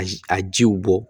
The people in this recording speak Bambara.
A a jiw bɔ